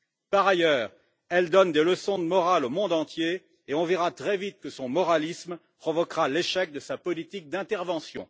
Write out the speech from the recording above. Par ailleurs, elle donne des leçons de morale au monde entier et on verra très vite que son moralisme provoquera l'échec de sa politique d'intervention.